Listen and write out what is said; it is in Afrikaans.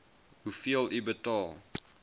hoeveel u betaal